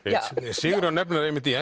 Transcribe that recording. Sigurjón nefnir það einmitt í